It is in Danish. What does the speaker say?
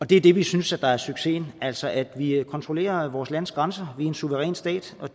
det er det vi synes er succesen altså at vi kontrollerer vores lands grænser vi er en suveræn stat og